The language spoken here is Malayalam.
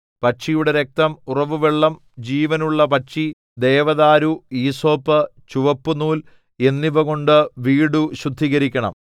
പക്ഷിയുടെ രക്തം ഉറവുവെള്ളം ജിവനുള്ള പക്ഷി ദേവദാരു ഈസോപ്പ് ചുവപ്പുനൂൽ എന്നിവകൊണ്ടു വീടു ശുദ്ധീകരിക്കണം